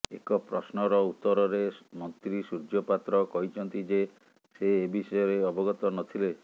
ଏକ ପ୍ରଶ୍ନର ଉତ୍ତରରେ ମନ୍ତ୍ରୀ ସୂର୍ଯ୍ୟ ପାତ୍ର କହିଛନ୍ତି ଯେ ସେ ଏ ବିଷୟରେ ଅବଗତ ନଥିଲେ